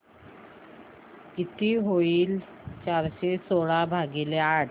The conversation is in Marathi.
किती होईल चारशे सोळा भागीले आठ